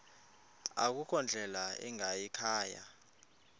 akukho ndlela ingayikhaya